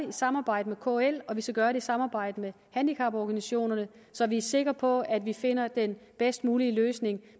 i samarbejde med kl og vi skal gøre det i samarbejde med handicaporganisationerne så vi er sikre på at vi finder den bedst mulige løsning